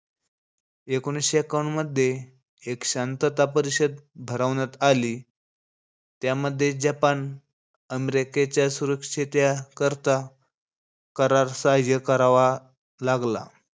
एकोणीशे एक्कावन्न मध्ये, एक शांतता परिषद भरवण्यात आली. त्यामध्ये जपान अमेरिकेच्या सुरक्षितया करता करार सहाय्य्य करावा लागला.